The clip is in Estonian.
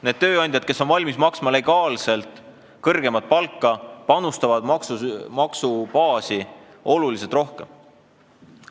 Need tööandjad, kes on valmis legaalselt kõrgemat palka maksma, panustavad maksubaasi oluliselt rohkem.